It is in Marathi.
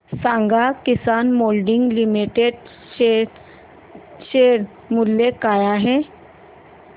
सांगा किसान मोल्डिंग लिमिटेड चे शेअर मूल्य काय आहे